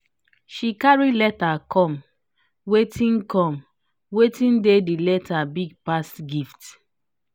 she carry letter comewatin comewatin dey the letter big pass gift.